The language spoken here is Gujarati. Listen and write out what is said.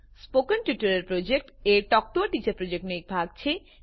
spoken tutorial project a talk to a teacher પ્રોજેક્ટનો એક ભાગ છે